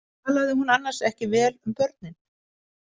Talaði hún annars ekki vel um börnin?